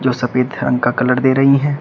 जो सफेद रंग का कलर दे रही हैं।